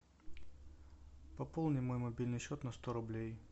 пополни мой мобильный счет на сто рублей